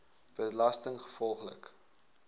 belastinggevolglik